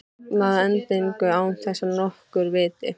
Sofna að endingu án þess að nokkur viti.